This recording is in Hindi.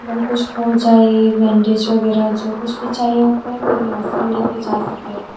और कुछ हो जाए बैंडेज वगैरह जो कुछ भी चाहिए होता है फिर यहां से लेकर जा सकते हैं।